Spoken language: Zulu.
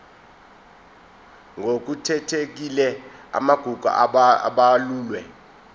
ngokukhethekile amagugu abalulwe